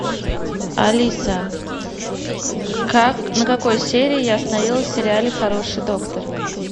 алиса как на какой серии я остановилась в сериале хороший доктор